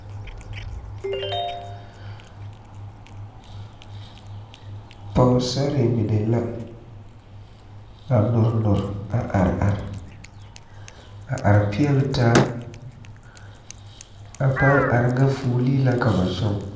Poosarre mine la a nore nore a are a are peɛle taa a pãã are ŋa fuolee la ka ba tɔŋ.